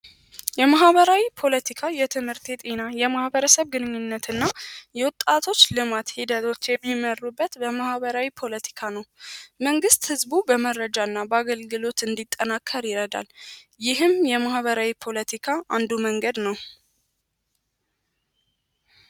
የማህበራዊ ፖለቲካ የትምህርት የጤና የማህበረሰብ ግንኙነት እና የወጣቶች የእርስ በእርስ ግንኙነት የሚመሩበት ነዉ።